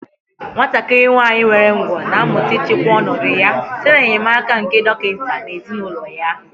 Nwatakịrị nwanyị nwere ụgwọ̀ na-amụta ịchịkwa ọnọdụ ya site n'enyemaka nke dọkịta na ezinụlọ ya